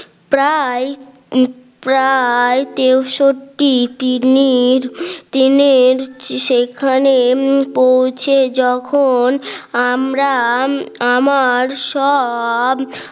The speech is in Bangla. প্রায় প্রায় তেষট্টি তিমির তিনির সেইখানে পৌঁছে যখন আমরা আমার সব